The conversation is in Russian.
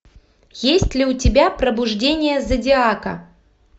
есть ли у тебя пробуждение зодиака